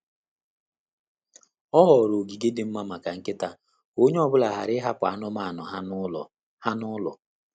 O họọrọ ogige dị mma maka nkịta ka onye ọ bụla ghara ịhapụ anụmanụ ha n'ụlo. ha n'ụlo.